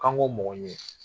K'an k'o mɔgɔ ɲini